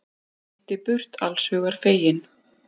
Hann synti burt allshugar feginn.